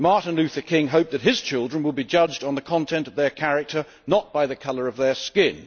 Martin Luther King hoped that his children would be judged on the content of their character, not the colour of their skin.